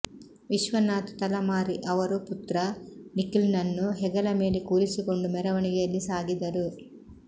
ವಿಶ್ವನಾಥ್ ತಲಮಾರಿ ಅವರು ಪುತ್ರ ನಿಖಲ್ನನ್ನು ಹೆಗಲ ಮೇಲೆ ಕೂರಿಸಿಕೊಂಡು ಮೆರವಣಿಗೆಯಲ್ಲಿ ಸಾಗಿದರು